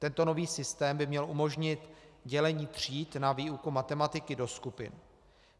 Tento nový systém by měl umožnit dělení tříd na výuku matematiky do skupin.